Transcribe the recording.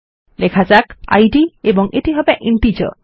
লেখা যাক ইদ এবং এটি হবে ইন্টিজার